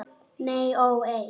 Nei ó nei.